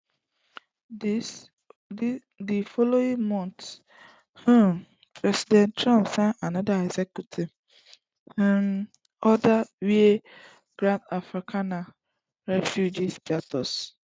di following month um president trump sign anoda executive um order wey grant afrikaners refugee status